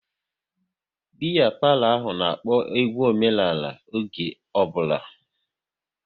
Biya palo ahụ n'akpo egwu omenala oge ọ bụla